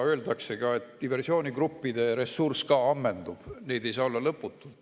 Öeldakse, et diversioonigruppide ressurss ka ammendub, neid ei saa olla lõputult.